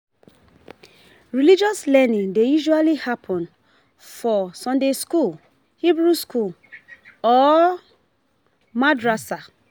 Religious learning dey usually happen for sunday school, Hebrew school or Madrasa